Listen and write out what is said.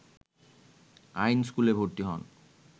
আইন স্কুলে ভর্তি হন